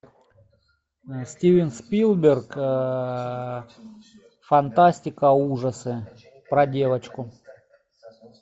стивен спилберг фантастика ужасы про девочку